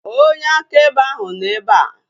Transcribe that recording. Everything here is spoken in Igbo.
Onye akaebe ahu nọ ebea